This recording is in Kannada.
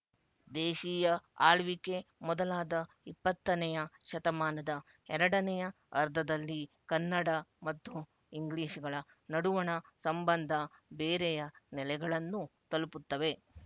ದೇಶೀಯ ಆಳ್ವಿಕೆ ಮೊದಲಾದ ಇಪ್ಪತ್ತನೆಯ ಶತಮಾನದ ಎರಡನೆಯ ಅರ್ಧದಲ್ಲಿ ಕನ್ನಡ ಮತ್ತು ಇಂಗ್ಲಿಶುಗಳ ನಡುವಣ ಸಂಬಂಧ ಬೇರೆಯ ನೆಲೆಗಳನ್ನು ತಲುಪುತ್ತವೆ